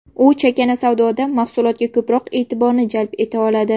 U chakana savdoda mahsulotga ko‘proq e’tiborni jalb eta oladi.